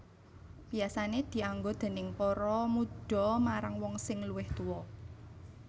Biasané dianggo déning para mudha marang wong sing luwih tuwa